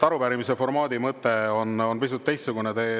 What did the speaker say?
Arupärimise formaadi mõte on pisut teistsugune.